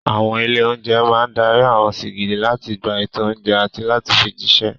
Àwọn ilé-oúnjẹ máa dárí àwọn sìgìdì láti gba ètò oúnjẹ àti láti fi jíṣẹ́.